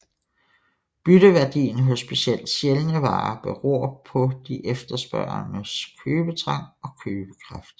Bytteværdien hos specielt sjældne varer beror på de efterspørgendes købetrang og købekraft